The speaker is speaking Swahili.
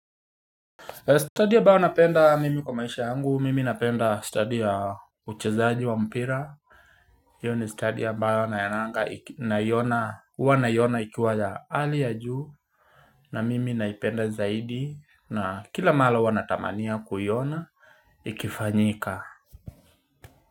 Study ambao napenda mimi kwa maisha yangu, mimi napenda study ya uchezaji wa mpira. Hiyo ni study ambayo naionanga naiona, huwa naiona ikiwa ya hali ya juu. Na mimi naipenda zaidi na kila mara huwa natamania kuiona, ikifanyika.